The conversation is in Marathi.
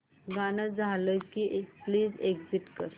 गाणं झालं की प्लीज एग्झिट कर